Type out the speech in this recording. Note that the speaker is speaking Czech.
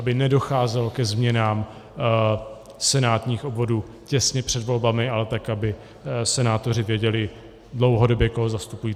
Aby nedocházelo ke změnám senátních obvodů těsně před volbami, ale tak, aby senátoři věděli dlouhodobě, koho zastupují.